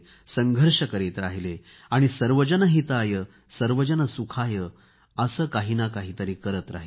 संघर्ष करत राहिले आणि सर्वजन हितायसर्वजन सुखाय असे काही ना काहीतरी करत राहिले